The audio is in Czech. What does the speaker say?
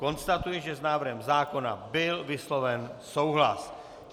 Konstatuji, že s návrhem zákona byl vysloven souhlas.